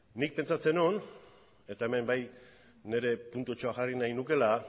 nik pentsatzen nuen eta hemen bai nire puntutxoa jarri nahi nukeela